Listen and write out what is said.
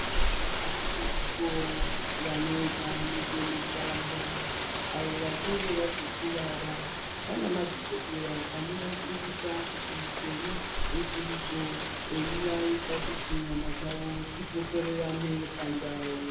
Variko vanoita nezve mutambo avo vachinge vazokuvara vana madhokodheya anovashingisa kuti upenyu huchiriko eivaita kuti nyama dzavo dzidzokererane pandau.